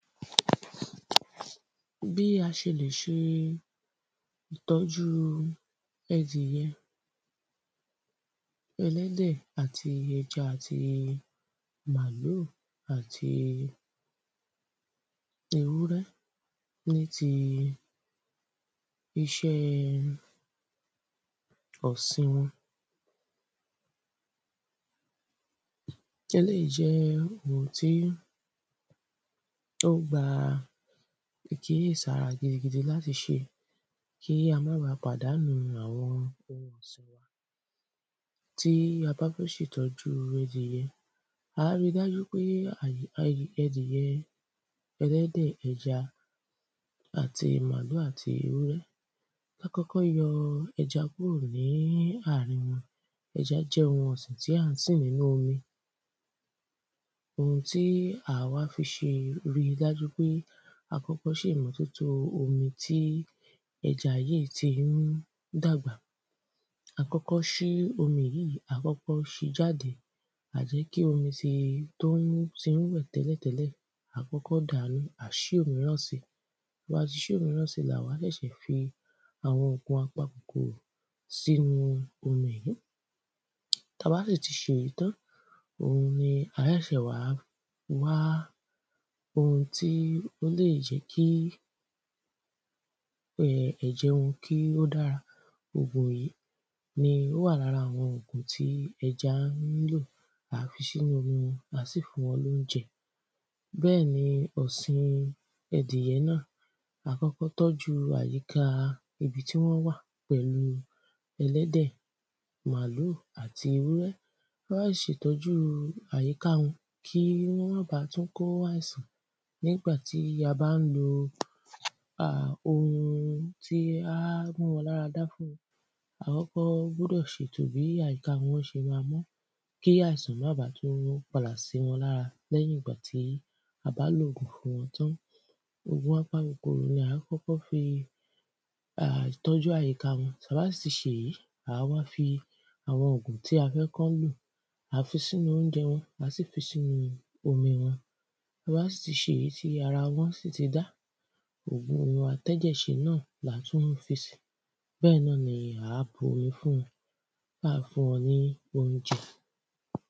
Bí a ṣe lè ṣe ìtọ́jú ẹdirẹ ẹlẹ́dè àti ẹja àti màlúù àti ewúrẹ́ ní ti iṣẹ́ ọ̀sìn wọn. Eléèyí jẹ́ ohun tí ó gba ìkíyèsára gidi gidi gan láti ṣe kí a mọ́ ba pàdánù àwọn. Tí a bá fẹ́ ṣètọ́jú ẹdìyẹ à á rí dájú pé ẹlẹ́dè ẹdìyẹ ẹja àti màlúù àti ewúrẹ́ kọ́kọ́ yọ ẹja kúrò ní àarin wọn ẹjá jẹ́ ohun ọ̀sìn tá ń sì nínú omi ohun tí à wá fi ṣe rí dájú pé a kọ́kọ́ ṣèmọ́tótó omi tí ẹja yìí tí ń dàgbà à á kọ́kọ́ ṣí omi yìí à á kọ́kọ́ ṣí jáde à á jẹ́ kí omi tí ó tí ń rùn tẹ́lẹ̀ tẹ́lẹ̀ à á kọ́kọ́ dàánù à á ṣí òmíràn sí tá bá ti ṣí òmìràn sí là wá ṣẹ̀ṣẹ̀ fi àwọn òògùn apa kòkòrò sí inú omi yìí tá bá sì ti ṣe èyí tán òhun ni á ṣẹ̀ṣẹ̀ wá wá ohun tí ó lè jẹ́ kí um ẹ̀jẹ̀ wọn kí ó dára òògùn yìí ni ó wà lára àwọn òògùn tí ẹja nílò à á fi sínú omi à á sì fún wọn lóúnjẹ. bẹ́ẹ̀ ni ọ̀sìn ẹdìyẹ náà wàá kọ́kọ́ tọ́jú àyíká ibi tí wọ́n wà pẹ̀lú ẹlẹ́dẹ̀ màlúù àti ewúrẹ́ wọ́n ṣe ìtọ́jú àyíká wọn kí wọn má ba tún kó àìsàn nígbàtí a bá ń lo ohun tí á mú wọn lára dá fún wọn a kọ́kọ́ gbúdọ̀ ṣètò bí àyíká wọn ṣe má mọ́ kí àìsàn má ba tún padà sí wọn lára lẹ́yìn ìgbà tí a bá lòògùn fún wọn tán. Òògùn apa kòkòrò à á kọ́kọ́ fi tọ́jú àyíká wọn tá bá sì ti ṣe èyí à á wá fi àwọn òògùn tí a fẹ́ kán lò à á fi sínú óúnjẹ wọn à á sì tún fi sínú omi wọn tá bá sì ti ṣe èyí tí ara wọn sì ti dá òògùn atẹ́jẹ̀ ṣe náà là tún fi sí bẹ́ẹ̀ náà ni à á bomi fún wọn á wá fún wọn ní óúnjẹ.